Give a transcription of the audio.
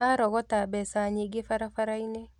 Arogota mbeca nyingĩ barabara-inĩ